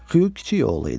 Xyu kiçik oğlu idi.